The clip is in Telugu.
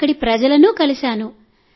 అక్కడి ప్రజలను కలిశాను